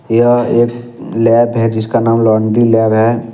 यह एक ब्लैक है जिसका नाम लॉन्ड्री लैब है।